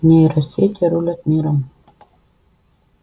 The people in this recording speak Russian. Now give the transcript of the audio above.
нейросети рулят миром